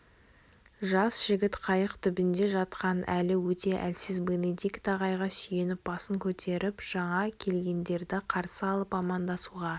жас жігіт қайық түбінде жатқан әлі өте әлсіз бенедикт ағайға сүйеніп басын көтеріп жаңа келгендерді қарсы алып амандасуға